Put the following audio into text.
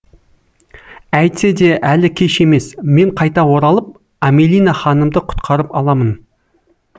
әйтсе де әлі кеш емес мен қайта оралып амелина ханымды құтқарып аламын